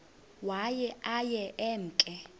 waye aye emke